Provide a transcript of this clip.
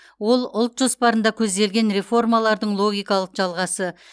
ол ұлт жоспарында көзделген реформалардың логикалық жалғасы